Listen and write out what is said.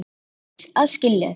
Þeir hlutu að skilja það.